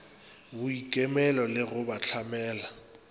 boikemelo le go ba hlamela